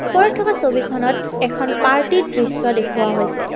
উপৰত থকা ছবিখনত এখন পাৰ্টীৰ দৃষ্য দেখুওৱা হৈছে।